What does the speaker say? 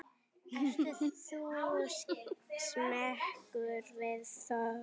Ert þú smeykur við þokuna?